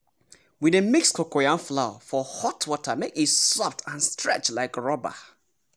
we dey mix cocoyam flour for hot water make e soft and stretch like rubber!